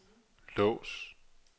lås